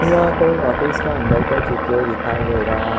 यहां पे एक ऑफिस का अंदर का चित्र दिखाई दे रहा है।